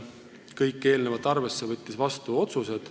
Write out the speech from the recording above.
Kõike eelnevat arvesse võttes tegi komisjon ka otsused.